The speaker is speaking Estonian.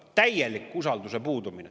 Täielik usalduse puudumine.